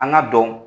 An ka dɔn